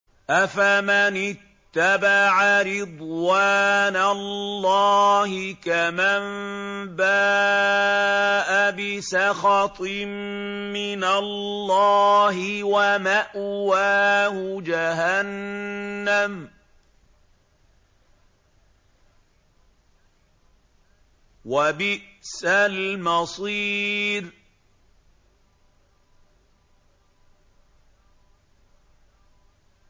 أَفَمَنِ اتَّبَعَ رِضْوَانَ اللَّهِ كَمَن بَاءَ بِسَخَطٍ مِّنَ اللَّهِ وَمَأْوَاهُ جَهَنَّمُ ۚ وَبِئْسَ الْمَصِيرُ